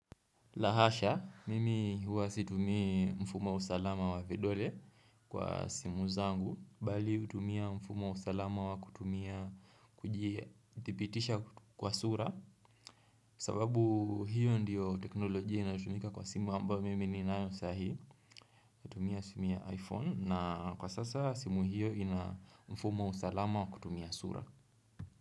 Lahasha, mimi huwa situmia mfumo wa usalama wa vidole kwa simu zangu, bali hutumia mfumo usalama wa kutumia kujithibitisha kwa sura, sababu hiyo ndiyo teknolojia inatumika kwa simu ambao mimi ni nayo sahi, hutumia simu ya iPhone, na kwa sasa simu hiyo ina mfumo usalama wa kutumia sura.